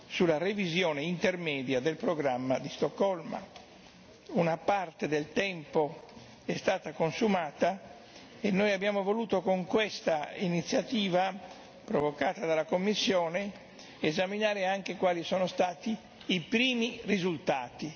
sulla revisione intermedia del programma di Stoccolma. Una parte del tempo è stata consumata e noi abbiamo voluto con questa iniziativa, provocata dalla Commissione, esaminare anche quali sono stati i primi risultati.